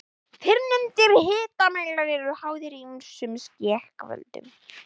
Fyrrnefndir hitamælar eru háðir ýmsum skekkjuvöldum.